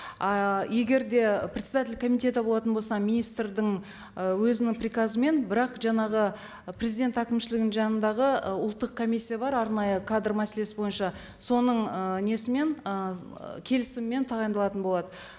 а егер де председатель комитета болатын болса министрдің ы өзінің приказымен бірақ жаңағы президент әкімшлігінің жанындағы ы ұлттық комиссия бар арнайы кадр мәселесі бойынша соның ы несімен ы келісімімен тағайындалатын болады